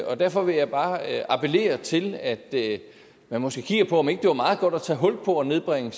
og derfor vil jeg bare appellere til at man måske kigger på om ikke det var meget godt at tage hul på at nedbringe